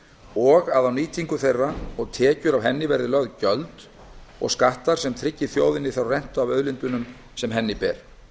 og að á nýtingu þeirra og tekjur af henni verði lögð gjöld og skattar sem tryggi þjóðinni þá rentu af auðlindunum sem henni ber